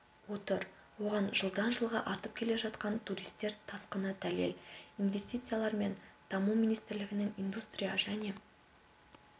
отыр оған жылдан-жылға артып келе жатқан туристер тасқыны дәлел инвестициялар және даму министрлігінің индустрия және